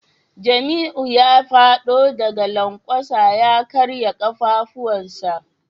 Jamiu ya fado daga lankwasa ya karya kafafunsa